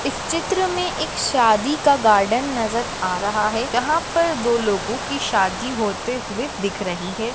इस चित्र में एक शादी का गार्डन नज़र आ रहा है यहां पर दो लोगों की शादी होते हुए दिख रही है।